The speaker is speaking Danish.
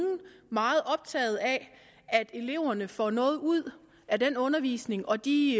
meget optaget af at eleverne får noget ud af den undervisning og de